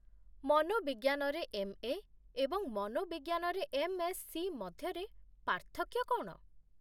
ମନୋବିଜ୍ଞାନରେ MA. ଏବଂ ମନୋବିଜ୍ଞାନରେ MSc. ମଧ୍ୟରେ ପାର୍ଥକ୍ୟ କ'ଣ ?